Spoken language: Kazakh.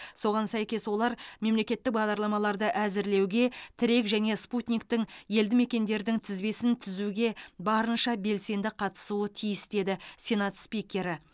соған сәйкес олар мемлекеттік бағдарламаларды әзірлеуге тірек және спутниктің елді мекендердің тізбесін түзуге барынша белсенді қатысуы тиіс деді сенат спикері